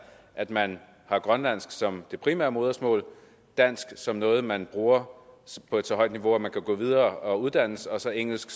at man har grønlandsk som det primære modersmål dansk som noget man bruger på et så højt niveau at man kan gå videre og uddanne sig og så engelsk